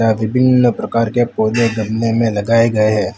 विभिन्न प्रकार के पौधे गमले में लगाए गए है।